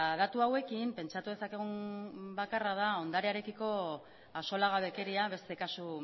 datu hauekin pentsatu dezakegun gauza bakarra da ondarearekiko axolagabekeria beste kasu